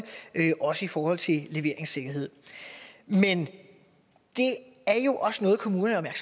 også i forhold til leveringssikkerhed men det er jo også noget kommunerne er